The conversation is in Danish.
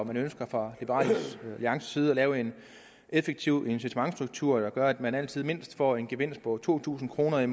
man ønsker fra liberal alliances side at lave en effektiv incitamentsstruktur der gør at man altid mindst får en gevinst på to tusind kroner